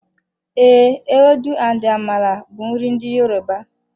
Ee, ewedu and amala bụ nri ndị Yoruba.